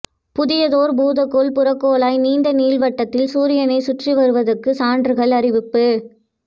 புதியதோர் பூதக்கோள் புறக்கோளாய் நீண்ட நீள்வட்டத்தில் சூரியனைச் சுற்றி வருவதற்குச் சான்றுகள் அறிவிப்பு